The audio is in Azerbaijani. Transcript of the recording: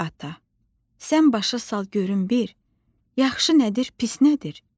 Ay ata, sən başa sal görüm bir, yaxşı nədir, pis nədir?